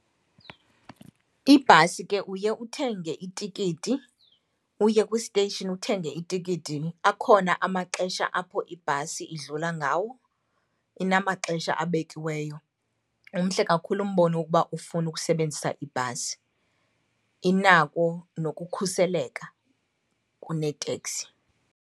Ibhasi ke uye uthenge itikiti, uye kwi-station uthenge itikiti. Akhona amaxesha apho ibhasi idlula ngawo, inamaxesha abekiweyo. Umhle kakhulu umbono wokuba ufune ukusebenzisa ibhasi, inako nokukhuseleka kuneteksi.